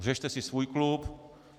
Řešte si svůj klub.